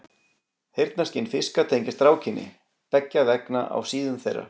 Heyrnarskyn fiska tengist rákinni, beggja vegna á síðum þeirra.